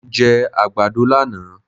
Mo jẹ àgbàdo lánàá.